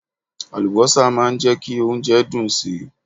Àlùbọ́sà máa ń jẹ́ kí oúnjẹ dùn si.